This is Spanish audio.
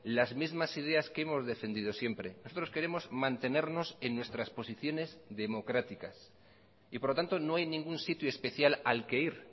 las mismas ideas que hemos defendido siempre nosotros queremos mantenernos en nuestras posiciones democráticas y por lo tanto no hay ningún sitio especial al que ir